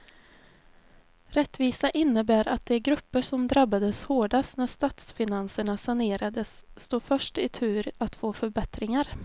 Rättvisa innebär att de grupper som drabbades hårdast när statsfinanserna sanerades står först i tur att få förbättringar.